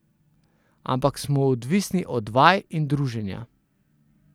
Ampak smo odvisni od vaj in druženja.